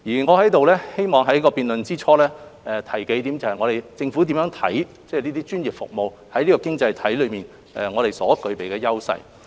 我希望在辯論之初，就政府如何看待專業服務在這經濟體中所具備優勢，提出數點看法。